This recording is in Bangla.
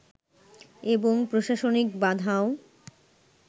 এবং প্রশাসনিক বাধাও